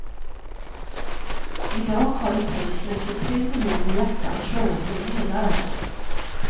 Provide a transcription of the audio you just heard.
I dag håller pacemakern tre miljoner hjärtan slående över hela världen.